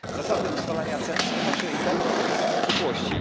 Zasady ustalania cen są zawsze i będą takie same w przyszłości.